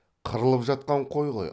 қырылып жатқан қой ғой